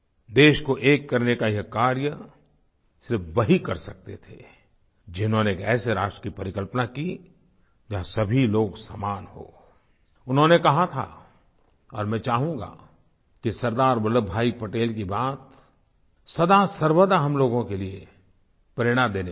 देश को एक करने का ये कार्य सिर्फ़ वही कर सकते थे जिन्होंने एक ऐसे राष्ट्र की परिकल्पना की जहाँ सभी लोग समान हों उन्होंने कहा था और मैं चाहूँगा कि सरदार वल्लभ भाई पटेल की बात सदासर्वदा हम लोगों के लिए प्रेरणा देने वाली हैं